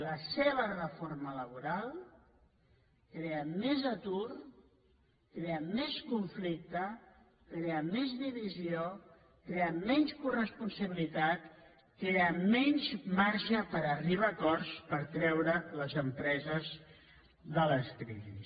la seva reforma laboral crea més atur crea més conflicte crea més divisió crea menys coresponsabilitat crea menys marge per arribar a acords per treure les empreses de la crisi